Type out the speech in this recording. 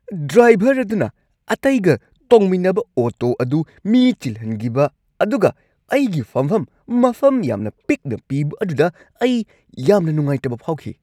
Driver ꯑꯗꯨꯅ ꯑꯇꯩꯒ ꯇꯣꯡꯃꯤꯟꯅꯕ ꯑꯣꯇꯣ ꯑꯗꯨ ꯃꯤ ꯆꯤꯜꯍꯟꯒꯤꯕ ꯑꯗꯨꯒ ꯑꯩꯒꯤ ꯐꯝꯚꯝ ꯃꯐꯝ ꯌꯥꯝꯅ ꯄꯤꯛꯅ ꯄꯤꯕ ꯑꯗꯨꯗ ꯑꯩ ꯌꯥꯝꯅ ꯅꯨꯡꯉꯥꯏꯇꯕ ꯐꯥꯎꯈꯤ꯫